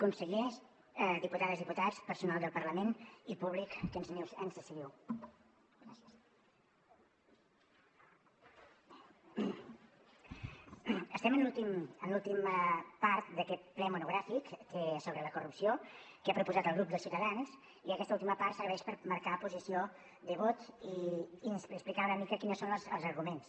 consellers diputades i diputats personal del parlament i públic que ens seguiu estem a l’última part d’aquest ple monogràfic que sobre la corrupció ha proposat el grup de ciutadans i aquesta última part serveix per marcar posició de vot i explicar una mica quins són els arguments